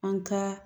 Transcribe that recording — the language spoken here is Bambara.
An ka